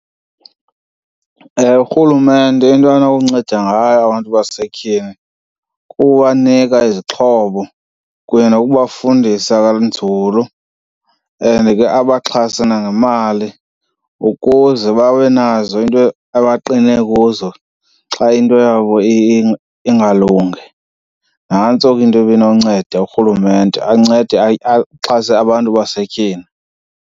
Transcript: Ewe, urhulumente into anokunceda ngayo abantu basetyhini kukubanika izixhobo kunye nokubafundisa kanzulu and ke abaxhase nangemali ukuze babe nazo into abaqine kuzo xa into yabo ingalungi. Nantso ke into ibinonceda, urhulumente ancede axhase abantu basetyhini.